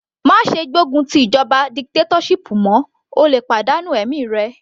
Má ṣe gbógun ti ìjọba dictatorship mọ́, o lè pàdánù ẹ̀mí rẹ.